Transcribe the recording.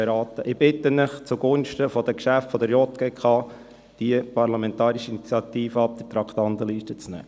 Ich bitte Sie, diese Parlamentarische Initiative zugunsten der Geschäfte der JGK von der Traktandenliste zu entfernen.